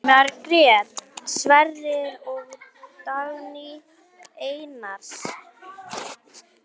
Margrét Sverris og Dagný Einars.